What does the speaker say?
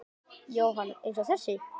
Jóhann: Eins og þessi?